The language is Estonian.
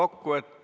Aitäh!